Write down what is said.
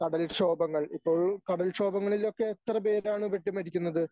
കടൽക്ഷോഭങ്ങൾ ഇപ്പോൾ കടൽക്ഷോഭങ്ങളിലൊക്കെ എത്ര പേരാണ് പെട്ട് മരിക്കുന്നത്.